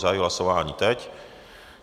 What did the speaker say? Zahajuji hlasování, teď.